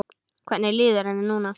Hvernig líður henni núna?